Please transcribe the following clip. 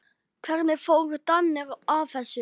Hvernig fóru Danir að þessu?